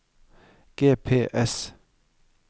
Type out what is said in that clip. GPS